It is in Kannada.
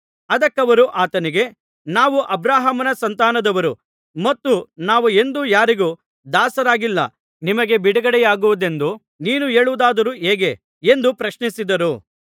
ಅದಕ್ಕವರು ಆತನಿಗೆ ನಾವು ಅಬ್ರಹಾಮನ ಸಂತಾನದವರು ಮತ್ತು ನಾವು ಎಂದೂ ಯಾರಿಗೂ ದಾಸರಾಗಿಲ್ಲ ನಿಮಗೆ ಬಿಡುಗಡೆಯಾಗುವುದೆಂದು ನೀನು ಹೇಳುವುದಾದರೂ ಹೇಗೆ ಎಂದು ಪ್ರಶ್ನಿಸಿದರು